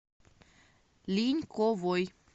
линьковой